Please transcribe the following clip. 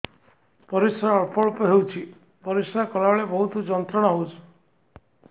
ପରିଶ୍ରା ଅଳ୍ପ ଅଳ୍ପ ହେଉଛି ପରିଶ୍ରା କଲା ବେଳେ ବହୁତ ଯନ୍ତ୍ରଣା ହେଉଛି